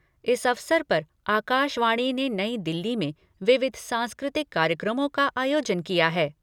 इस अवसर पर आकाशवाणी ने नई दिल्ली में विविध सांस्कृतिक कार्यक्रमों का आयोजन किया है।